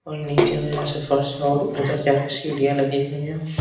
और नीचे में ऐसे फर्श और उधर जाकर सीढ़ियां लगी हुईं है।